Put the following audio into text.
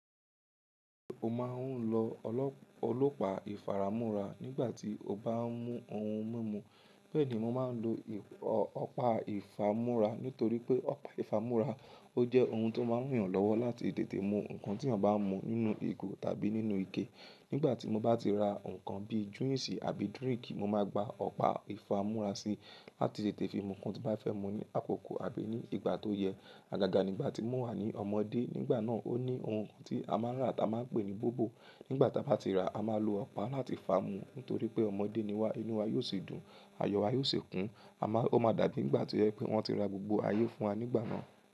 Mo máa ń lọ ọlọ́pàá ìfaramúra nígbà tí o bá ń mú ohun mímu. Bẹ́ẹ̀ ni mo máa ń lo ọ̀pá ìfámúrá nítorí pé ọ̀pá ìfámúrá ó jẹ́ ohun tó máa ń ràn yan lọ́wọ́ láti tètè mú nǹkan tí eeyan bá n mú nínú ìgò tàbí nínú ike. Nígbà tí mo bá ti ra nǹkan bíi juisi àbí drink, mo máa gba ọ̀pá ìfámúrá síi láti tètè fi mú nǹkan tí bá fẹ́ mú ní àkókò àbí ní ìgbà tó yẹ. Àgàgà nígbà tí mo wà ní ọmọdé, nígbà náà ó ní ohun tí a máa ń rà tí a máa ń pè ní bobo. Nígbà tí a bá ti ra, a máa lo ọ̀pá láti fà á mu nítorí pé ọmọdé ni wá, inú wa yóò sì dùn, ayọ̀ wa yóò sì kún. A máa-- ó máa dàbi nígbà tí o jẹ wi pé wọ́n ti ra gbogbo ayé fún wa nígbà náà.